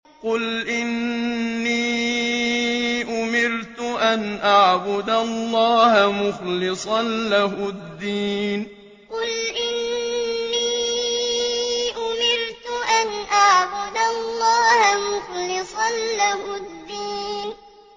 قُلْ إِنِّي أُمِرْتُ أَنْ أَعْبُدَ اللَّهَ مُخْلِصًا لَّهُ الدِّينَ قُلْ إِنِّي أُمِرْتُ أَنْ أَعْبُدَ اللَّهَ مُخْلِصًا لَّهُ الدِّينَ